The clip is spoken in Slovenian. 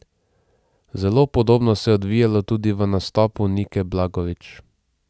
Zelo podobno se je odvijalo tudi v nastopu Nike Blagovič.